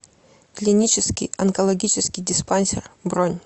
клинический онкологический диспансер бронь